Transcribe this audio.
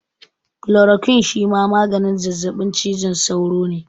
Kulorokwin shima maganin zazzaɓin cizon sauro ne